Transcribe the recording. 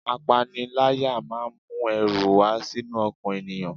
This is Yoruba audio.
Apanilaya máa ń mu ẹrù wá sínú ọkàn ènìyàn.